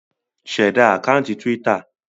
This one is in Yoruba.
Ṣẹ̀da àkáńtì Twitter!